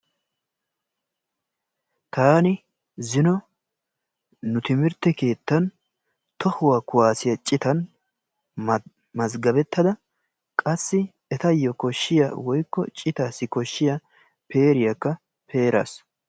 Taani zino nu timirtte keettan tohuwa kuwaasiyaa cittan mazgabettada qassi etayo koshshiyaa woykko citaassi koshshiyaa peeriyaakka peeraas.